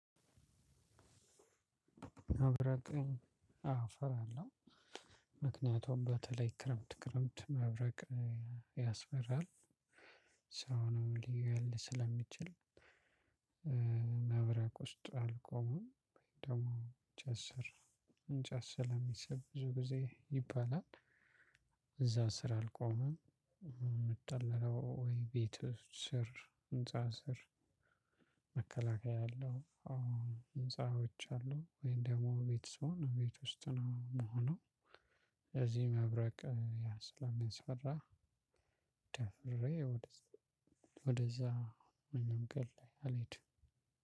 መብረቅን አወ እፈራለሁ። ምክንያቱም በተለይ ክረምት ክረምት መብረቅ ያስፈራል ሰውንም ሊገል ስለሚችል። መብረቅ ውስጥ አልቆመም ደግሞ እንጨት ስር እንጨት ስለሚስብ ብዙ ጊዜ ይባላል። እዛ ስር አልቆመም የምጠለለው ወይ ቤት ስር ህንፃ ስር። መከላከያ ያለው ህንፃዎች አሉ ወይም ደግሞ ቤት ስሆን ቤት ውስጥ ነው የምሆነው። ስለዚህ መብረቅ ያ ስለሚያስፈራ። ደፍሬ ወደዛ በመንገድ ላይ አልሄድም።